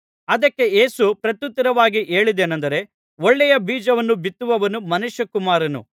ಅದಕ್ಕೆ ಯೇಸು ಪ್ರತ್ಯುತ್ತರವಾಗಿ ಹೇಳಿದ್ದೇನೆಂದರೆ ಒಳ್ಳೆಯ ಬೀಜವನ್ನು ಬಿತ್ತುವವನು ಮನುಷ್ಯಕುಮಾರನು